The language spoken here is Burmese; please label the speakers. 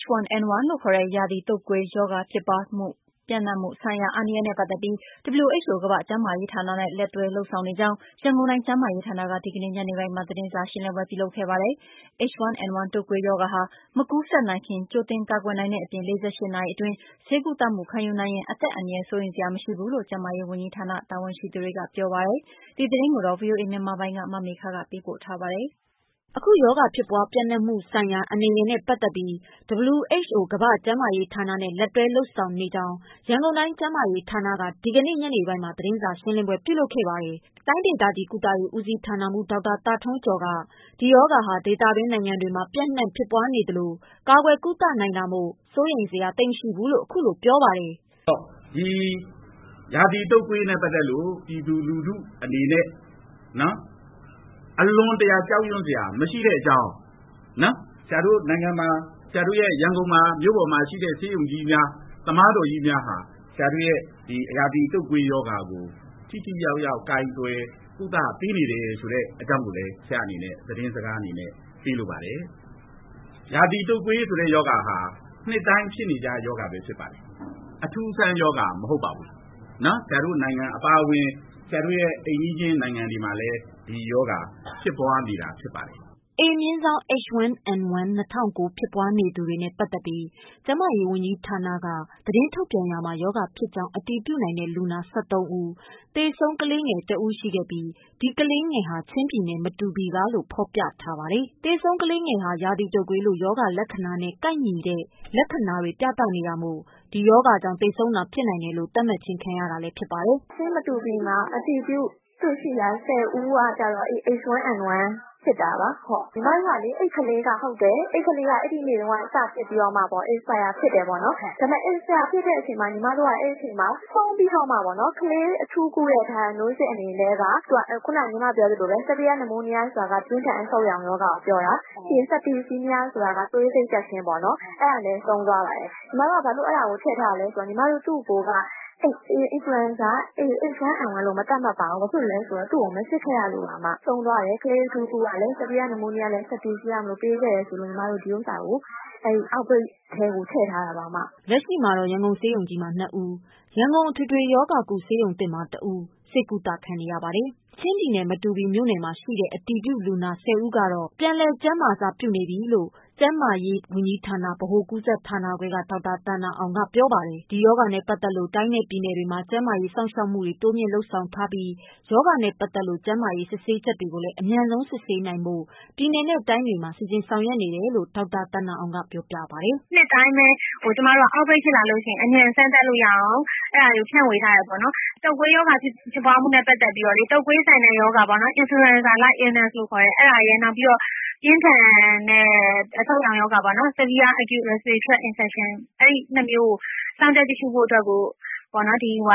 Speaker 1: H1N1လို့ခေါ်တဲ့ ရာသီတုပ်ကွေး ရောဂါဖြစ်ပွါး ပြန့်နှံမှု ဆိုင်ရာ အန္တရာယ်နဲ့ ပတ်သက်ပြီး WHO ကမ္ဘာ့ကျန်းမာရေး ဌာနနဲ့ လက်တွဲလုပ်ဆောင်နေကြောင်း ရန်ကုန်တိုင်း ကျန်းမာရေးဌာနက ဒီကနေ့ ညနေပိုင်းမှာ သတင်းစာရှင်းလင်းပွဲ ပြုလုပ်ခဲ့ပါတယ်။ H1N1 တုပ်ကွေးရောဂါဟာမကူးစက်နိုင်ရန် ကြိုတင်ကာကွယ်နိုင်သည့်အပြင် ၄၈ နာရီအတွင်း ဆေးကုသမှုခံယူနိုင်ရင် အသက် အန္တရာယ် စိုးရိမ်စရာမရှိဘူးလို့ ကျန်းမာရေးဝန်ကြီးဌာနတာဝန်ရှိသူတွေကပြောပါတယ်။ ဒီသတင်းကိုဗွီအိုအေမြန်မာပိုင်းက မေခကပေးပို့ထားပါတယ်။ ရောဂါဖြစ်ပွါး ပြန့်နှံမှု ဆိုင်ရာ အန္တရာယ်နဲ့ ပတ်သက်ပြီး WHO ကမ္ဘာ့ကျန်းမာရေး ဌာနနဲ့ လက်တွဲလုပ်ဆောင်နေကြောင်း ရန်ကုန်တိုင်း ကျန်းမာရေးဌာနက ဒီကနေ့ ညနေပိုင်းမှာ သတင်းစာရှင်းလင်းပွဲ ပြုလုပ်ခဲ့ပါတယ်။တိုင်းဒေသကြီး ကုသရေး ဦးစီးဌာနမှုး ဒေါက်တာ သာထွန်းကျော်က ဒီရောဂါဟာ ဒေသတွင်း နိုင်ငံတွေမှာ ပြန့်နှံ့ဖြစ်ပွါးနေသလို ကာကွယ်ကုသနိုင်တာမို့ စိုးရိမ်စရာ သိပ်မရှိဘူးလို့ ခုလို ပြောပါတယ်
Speaker 2: ။ “ဒီရာသီတုပ်ကွေးနဲ့ ပတ်သက်လို့ ပြည်သူလူထုအနေနဲ့ အလွန်တရာကြောက်ရွံ့စရာမရှိတဲ့အကြောင်း ဆရာတို့နိုင်ငံမှာ ဆရာတို့ရန်ကုန်မှာ မြို့ပေါ်မှာရှိတဲ့ ဆေးရုံကြီးများ ၊ သမားတော်ကြီးများဟာ ဆရာတို့ရဲ့ ရာသီတုပ်ကွေး ရောဂါကို ထိထိရောက်ရောက် ကိုင်တွယ်ကုသပေးနေတယ်ဆိုတဲ့အကြောင်းကိုလည်း ဆရာ့အနေနဲ့ သတင်းစကားပေးလိုပါတယ်။ ရာသီတုပ်ကွေး ရောဂါဟာ နှစ်တိုင်းဖြစ်နေကြရောဂါဖြစ်ပါတယ် အထူးအဆန်ရောဂါမဟုတ်ပါဘူး။ ဆရာတို့နိုင်ငံအပါအဝင် ဆရာတို့ အိမ်နီးချင်းနိုင်ငံတွေမှာလည်း ဒီရောဂါဖြစ်ပွားနေတာပါ။”
Speaker 1: A/H1N1 2009 ဖြစ်ပွားနေသူတွေနဲ့ပတ်သတ်ပြီး ကျန်းမာရေးဝန်ကြီး ဌာနက သတင်းထုတ်ပြန်ရာမှာ ရောဂါဖြစ်ကြောင်း အတည်ပြုနိုင်တဲ့ လူနာ ၁၃ ဦး၊ သေဆုံးကလေး ငယ်တဦး ရှိခဲ့ပြီး ဒီကလေးငယ်ဟာ ချင်းပြည်နယ် မတူပီကလို့ ဖော်ပြထားပါတယ်။ သေဆုံးကလေးငယ်ဟာ ရာသီတုပ်ကွေးလို့ ရောဂါလက္ခဏာနဲ့ ကိုက်ညီတဲ့ လက္ခဏာတွေပြသနေတာမို့ ဒီရောဂါကြောင့် သေဆုံးတာဖြစ်နိုင်တယ် လို့သတ်မှတ်ခြင်းခံ
Speaker 3: ရတာဖြစ်ပါတယ်။ “ချင်း မတူပီမှာ အတည်ပြုတွေ့ရှိတာ ၁၀ ဦး ကတော့ H1N1 ဖြစ်တာပါ။ ညီမတို့က အဲဒီကလေးက ဟုတ်တယ် ။အဲဒီကလေးက အဲဒီနေ့တုန်းက စဖြစ်ပြီးတော့မှ ဖြစ်တယ်ပေါ့နော် အဲလိုဖြစ်တဲ့အချိန်မှာ ညီမတို့က ဆုံးပြီးတော့မှ ကလေးအထူးကုရဲ့ diagnose အနေနဲ့က ညီမတို့ ခုနကပြောသလိုပဲ severe pneumonia ဆိုတာက ပြင်းထန်အဆုတ်ရောင်ရောဂါ ကိုပြောတာ၊ နောက်ပြီးတော့ သွေးအဆိပ်တက်ခြင်းပေါ့ အဲဒါနဲ့ ဆုံးသွားပါတယ်။ ညီမတို့က ဘာလို့ အဲဒါကို ထည့်ထားသလဲဆိုတော့ ညီမတို့ သူ့ကို H1N1 လို့တော့ မသတ်မှတ်ပါဘူး။ ဘာဖြစ်လို့လဲ သူ့ကို မစစ်ခဲ့ရလို့ပါ ကလေးက ဆုံးသွားတယ် ၊ ကလေးအထူးကုကလည်း severe pneumonia ပေးခဲ့တယ်ဆိုတာကို ညီမတို့ outbreak ထဲကို ထည့်ထားတာပါအမ။
Speaker 1: ” လက်ရှိမှာတော့ ရန်ကုန်ဆေးရုံကြီးတွင် နှစ်ဦး၊ ရန်ကုန်အထွေထွေရောဂါကု ဆေးရုံသစ်တွင် တစ်ဦးဆေးကုသခံနေရပါတယ်။ ချင်းပြည်နယ်၊ မတူပီမြို့နယ်မှာရှိတဲ့ အတည်ပြုလူနာ ၁၀ ဦးကတော့ အခုချိန်မှာ ပြန်လည်ကျန်းမာစပြုနေပြီလို့ ကျန်းမာရေးဝန်ကြီးဌာန ဗဟိုကူးစက်ဌာနခွဲက ဒေါက်တာသန္တာအောင်က ပြောပါတယ်။ ဒီရောဂါနဲ့ပတ်သတ်လို့ တိုင်းနဲ့ပြည်နယ် တွေမှာ ကျန်းမာရေးစောင့်ရှောက်မှုတွေကို တိုးမြင့်လုပ်ဆောင်ထားပြီး ရောဂါနဲ့ပတ်သတ်လို့ ကျန်းမာရေးစစ်ချက်တွေကိုလည်း အမြန်ဆုံးစစ်ဆေးနိုင်ဖို့ ပြည်နယ်နဲ့တိုင်းတွေမှာ စီစဉ်ဆောင်ရွက်နေတယ်လို့ ဒေါက်တာ သန္တာအောင်ကပြောပြပ
Speaker 3: ါတယ်။ “နှစ်တိုင်း ကျမတို့က Outbreak ဖြစ်လာရင် စမ်းသပ်လို့ရအောင် အဲဒါတွေကို ဖြန့်ဝေထားတယ်ပေါ့နော် တုတ်ကွေးရောဂါဖြစ်ပွားမှုနဲ့ ပတ်သက်ပြီး တုန်ကွေးဆန်တဲ့ရောဂါ influenza like illness လို့ခေါ်တယ်၊ နောက်ပြီးတော့ ပြင်းထန်တဲ့ အဆုတ်ရောင်ရောဂါပေါ့နော် severe acute respiratory tract infection အဲဒီ ၂ မျိုးကို စောင့်ပြီးကြည့်ရှုဖို့အတွက်ကို ဒီ WHO